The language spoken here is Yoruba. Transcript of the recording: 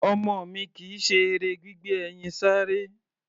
Ọmọ mi kì í ṣe eré gbígbé ẹyin sáré.